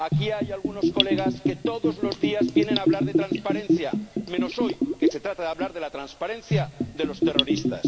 Aquí hay algunos colegas que todos los días vienen a hablar de transparencia, menos hoy que se trata de hablar de la transparencia de los terroristas.